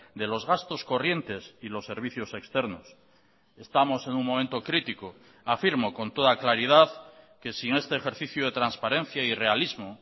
de los gastos corrientes y los servicios externos estamos en un momento crítico afirmo con toda claridad que sin este ejercicio de transparencia y realismo